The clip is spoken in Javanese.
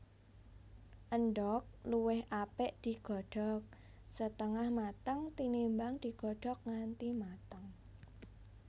Endhog luwih apik digodhog setengah mateng tinimbang digodhog nganti mateng